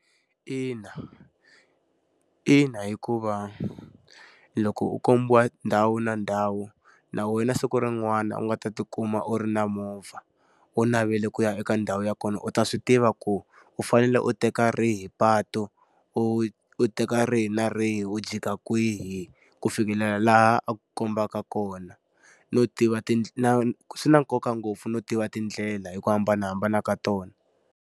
Ina. Ina hikuva loko u kombiwa ndhawu na ndhawu na wena siku rin'wana u nga ta ti kuma u ri na movha, u navele ku ya eka ndhawu ya kona u ta swi tiva ku u fane fanele u teka rihi patu. U u teka ri na rihi u jika kwihi, ku fikelela laha a ku kombaka kona. No tiva swi na nkoka ngopfu no tiva tindlela hi ku hambanahambana ka tona.